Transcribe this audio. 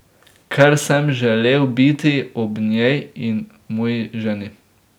Ker sem želel biti ob njej in moji ženi.